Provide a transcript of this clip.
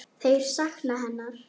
Þeir sakna hennar.